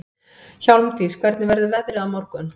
Hjálmdís, hvernig verður veðrið á morgun?